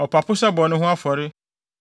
ɔpapo sɛ bɔne ho afɔre,